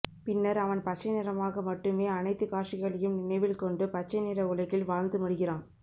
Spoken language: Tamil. பின்னர் அவன் பச்சை நிறமாக மட்டுமே அனைத்து காட்சிகளையும் நினைவில்கொண்டு பச்சை நிற உலகில் வாழ்ந்து மடிகிறான்